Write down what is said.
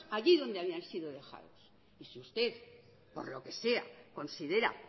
allí donde habían sido dejados y si usted por lo que sea considera